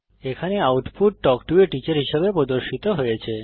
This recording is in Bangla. এখানে output talk to a teacher হিসাবে প্রদর্শিত হয়েছে